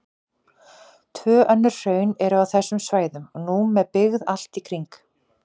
Tvö önnur hraun eru á þessum svæðum og nú með byggð allt í kring.